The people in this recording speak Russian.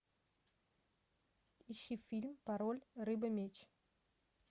ищи фильм пароль рыба меч